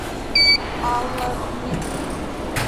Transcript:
алла дмитриевна